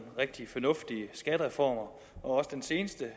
rigtig fornuftige skattereformer også den seneste